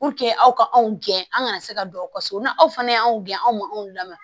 aw ka anw gɛn an kana se ka don aw ka so na aw fana y'anw gɛn anw ma anw lamaa